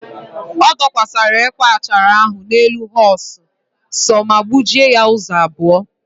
O dokwasara ekwe achara ahụ n'elu họọs sọọ ma gbujie ya ụzọ abụọ.